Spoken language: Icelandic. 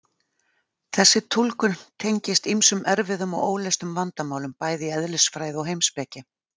Þessi túlkun tengist ýmsum erfiðum og óleystum vandamálum bæði í eðlisfræði og heimspeki.